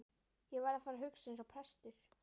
Ég verð að fara að hugsa eins og prestur.